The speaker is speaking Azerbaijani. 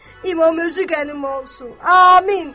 İmam özü qənim olsun, amin.